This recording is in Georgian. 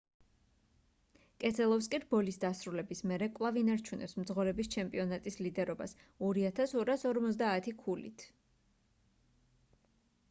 კესელოვსკი რბოლის დასრულების მერე კვლავ ინარჩუნებს მძღოლების ჩემპიონატის ლიდერობას 2,250 ქულით